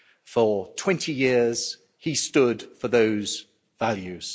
For 20 years, he stood for those values.